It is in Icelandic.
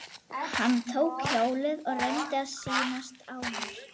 Hann tók hjólið og reyndi að sýnast ánægður.